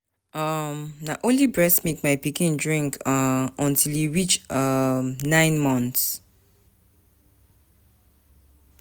um Na only breast milk my pikin drink um until e reach um nine months.